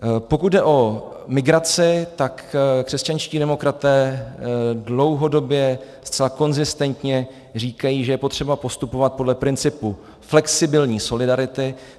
Pokud jde o migraci, tak křesťanští demokraté dlouhodobě zcela konzistentně říkají, že je potřeba postupovat podle principu flexibilní solidarity.